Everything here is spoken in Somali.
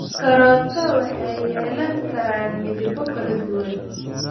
Karooto waxay yeelan karaan midabo kala duwan.